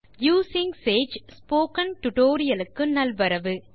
using Sage tutorial க்கு நல்வரவு